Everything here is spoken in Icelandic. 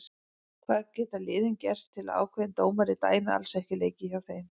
Hvað geta liðin gert til að ákveðin dómari dæmi alls ekki leiki hjá þeim?